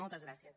moltes gràcies